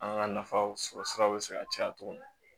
An ka nafaw sɔrɔ siraw bɛ se ka caya cogo min